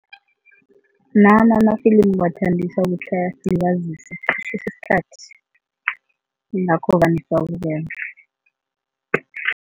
Nami amafilimu ngiwathandisa ukuthi ayasilibazisa isikhathi yingakho vane siwabukele.